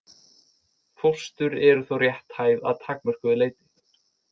Fóstur eru þó rétthæf að takmörkuðu leyti.